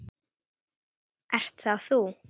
Ert það þú?